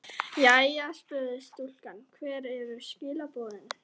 Jæja spurði stúlkan, hver eru skilaboðin?